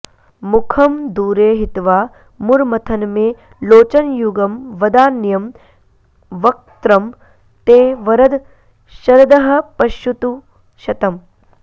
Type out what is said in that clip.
मुखं दूरे हित्वा मुरमथन मे लोचनयुगं वदान्यं वक्त्रं ते वरद शरदः पश्यतु शतम्